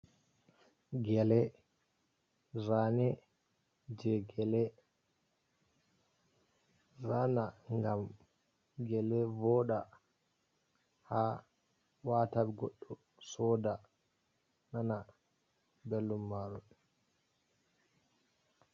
Gele, zane je gele zana ngam gele voɗa ha wata goɗɗo soda, nana belɗum maru.